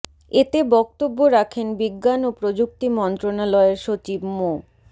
এতে বক্তব্য রাখেন বিজ্ঞান ও প্রযুক্তি মন্ত্রণালয়ের সচিব মো